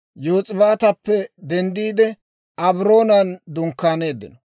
Yos'ibaatappe denddiide, Abroonan dunkkaaneeddino.